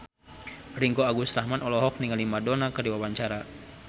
Ringgo Agus Rahman olohok ningali Madonna keur diwawancara